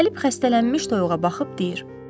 Gəlib xəstələnmiş toyuğa baxıb deyir: